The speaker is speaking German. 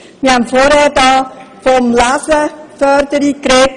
Wir haben vorhin von der Leseförderung gesprochen.